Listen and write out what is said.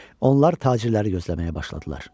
Onlar tacirləri gözləməyə başladılar.